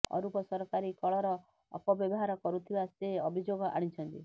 ଅରୂପ ସରକାରୀ କଳର ଅପବ୍ୟବହାର କରୁଥିବା ସେ ଅଭିଯୋଗ ଆଣିଛନ୍ତି